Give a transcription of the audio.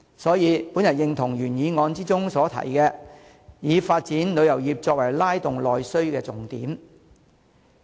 所以，我認同原議案提出要以發展旅遊業作為拉動內需的重點。